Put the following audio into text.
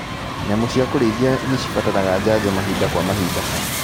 Nyamũ cia kũrĩithia nĩcibataraga janjo mahinda kwa mahinda.